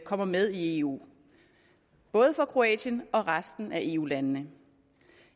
kommer med i eu både for kroatien og resten af eu landene